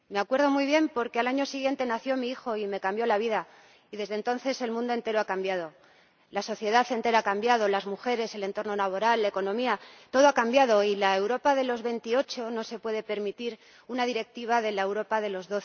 Me acuerdo muy bien, porque al año siguiente nació mi hijo y me cambió la vida y, desde entonces, el mundo entero ha cambiado, la sociedad entera ha cambiado, las mujeres, el entorno laboral, la economía Todo ha cambiado y la Europa de los 28 no se puede permitir una directiva de la Europa de los